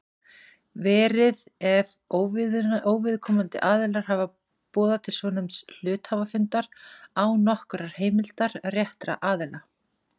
verið ef óviðkomandi aðilar hafa boðað til svonefnds hluthafafundar án nokkurrar heimildar réttra aðila.